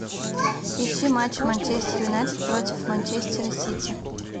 ищи матч манчестер юнайтед против манчестера сити